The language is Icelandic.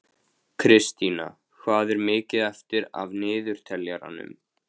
Kristína, hvað er mikið eftir af niðurteljaranum?